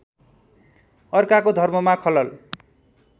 अर्काको धर्ममा खलल